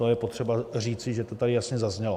To je potřeba říci, že to tady jasně zaznělo.